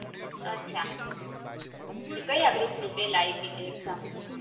અછા કયા group ની પેલા આપી તે exam